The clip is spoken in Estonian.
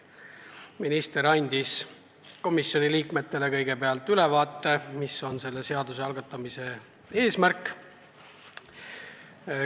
Minister andis komisjoni liikmetele kõigepealt ülevaate, mis on selle seaduse algatamise eesmärk.